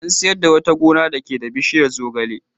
An sayar da wata gona dake da bishiyar zogale.